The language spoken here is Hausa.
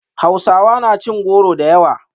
Hausawa na cin goro da yawa